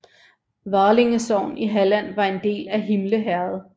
Valinge sogn i Halland var en del af Himle herred